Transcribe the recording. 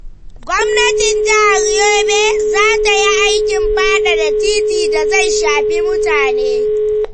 Gwamnatin jihar Yobe za ta yi aikin faɗaɗa titi da zai shafi mutane.